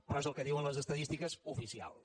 però és el que diuen les estadístiques oficials